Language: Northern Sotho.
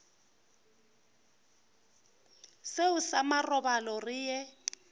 seo sa marobalo re ye